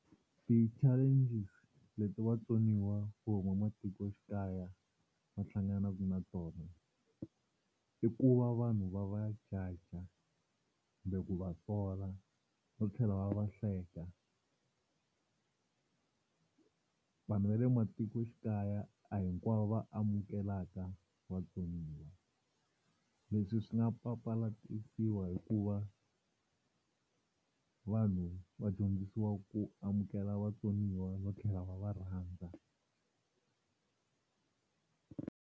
Ti-challenges leti vatsoniwa vo huma matikoxikaya va hlanganaka na tona i ku va vanhu va va judge kumbe ku va sola no tlhela va va hleka. Vanhu va le matikoxikaya a hinkwavo va amukelaka vatsoniwa leswi swi nga papalatiwa hikuva vanhu va dyondzisiwa ku amukela vatsoniwa no tlhela va va rhandza.